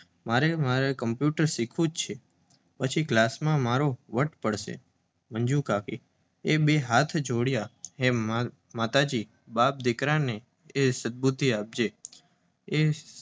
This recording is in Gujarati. મારે કમ્પ્યૂટર શીખવું જ છે, પછી ક્લાસમાં મારો વટ પડી જશે. મંજુકાકી એ બે હાથ જોડ્યા હે માતાજી! બાપ-દીકરાને સર્બુદ્ધિ આપજે.